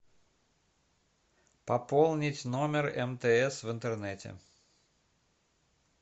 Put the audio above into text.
пополнить номер мтс в интернете